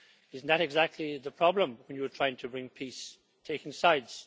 Isn't that exactly the problem when you're trying to bring peace taking sides?